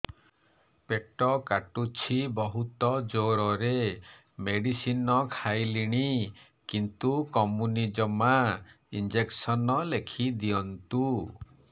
ପେଟ କାଟୁଛି ବହୁତ ଜୋରରେ ମେଡିସିନ ଖାଇଲିଣି କିନ୍ତୁ କମୁନି ଜମା ଇଂଜେକସନ ଲେଖିଦିଅନ୍ତୁ